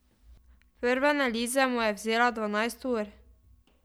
Prva analiza mu je vzela dvanajst ur.